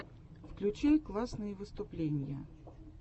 включай классные выступления